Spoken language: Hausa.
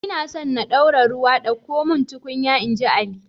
Ina so na dora ruwa ɗauko mun tukunya, inji ali